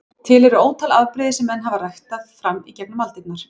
Til eru ótal afbrigði sem menn hafa ræktað fram í gegnum aldirnar.